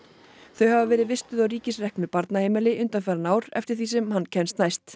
þau hafa verið vistuð á ríkisreknu barnaheimili undanfarin ár eftir því sem hann kemst næst